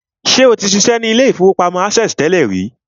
Ṣé o ti ṣiṣẹ́ ní ilé-ìfowópamọ́ access tẹ́lẹ̀ rí?